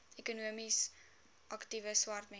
ekonomies aktiewe swartmense